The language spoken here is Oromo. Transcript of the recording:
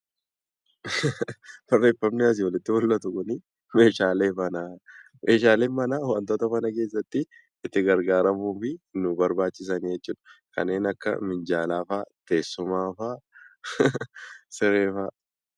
Barreeffamni asii olitti mul'atu kun meeshaalee manaa. Meeshaaleen manaa wantoota mana keessatti itti gargaaramuuf nu barbaachisanii jechuu dha. Kanneen akka minjaalaa faa, teessumaa faa, siree faa.